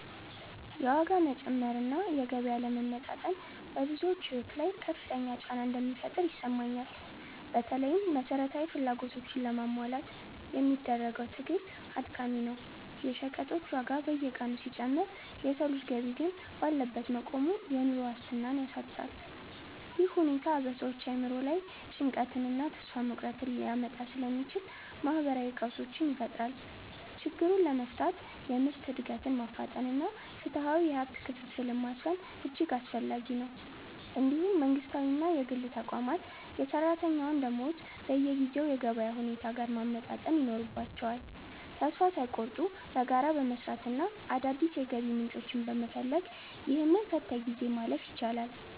የዋጋ መጨመር እና የገቢ አለመመጣጠን በብዙዎች ሕይወት ላይ ከፍተኛ ጫና እንደሚፈጥር ይሰማኛል። በተለይም መሠረታዊ ፍላጎቶችን ለማሟላት የሚደረገው ትግል አድካሚ ነው። የሸቀጦች ዋጋ በየቀኑ ሲጨምር የሰው ልጅ ገቢ ግን ባለበት መቆሙ፣ የኑሮ ዋስትናን ያሳጣል። ይህ ሁኔታ በሰዎች አእምሮ ላይ ጭንቀትንና ተስፋ መቁረጥን ሊያመጣ ስለሚችል፣ ማኅበራዊ ቀውሶችን ይፈጥራል። ችግሩን ለመፍታት የምርት ዕድገትን ማፋጠንና ፍትሐዊ የሀብት ክፍፍልን ማስፈን እጅግ አስፈላጊ ነው። እንዲሁም መንግሥታዊና የግል ተቋማት የሠራተኛውን ደመወዝ በጊዜው የገበያ ሁኔታ ጋር ማመጣጠን ይኖርባቸዋል። ተስፋ ሳይቆርጡ በጋራ በመሥራትና አዳዲስ የገቢ ምንጮችን በመፈለግ፣ ይህንን ፈታኝ ጊዜ ማለፍ ይቻላል።